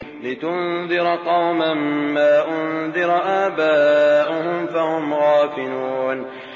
لِتُنذِرَ قَوْمًا مَّا أُنذِرَ آبَاؤُهُمْ فَهُمْ غَافِلُونَ